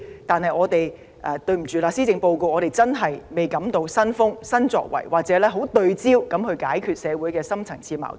但很抱歉，我們感受不到施政報告有新風、新作為，也看不到政府當局聚焦地解決社會的深層次矛盾。